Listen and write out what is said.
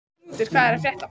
Knútur, hvað er að frétta?